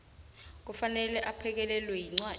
kufanele aphekelelwe yincwadi